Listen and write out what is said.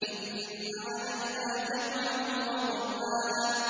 إِنَّ عَلَيْنَا جَمْعَهُ وَقُرْآنَهُ